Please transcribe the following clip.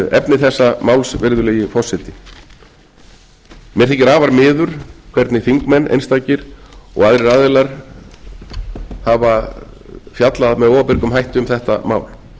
efni þessa máls virðulegi forseti mér þykir afar miður hvernig þingmenn einstakir og aðrir aðilar hafa fjallað með óábyrgum hætti um þetta mál